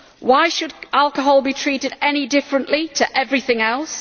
Why should alcohol be treated any differently to everything else?